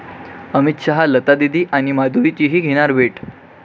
अमित शहा लतादीदी आणि माधुरीचीही घेणार भेट